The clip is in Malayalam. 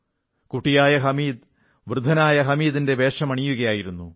കുട്ടിയായ ഹമീദ് വൃദ്ധനായ ഹമീദിന്റെ വേഷമണിയുകയായിരുന്നു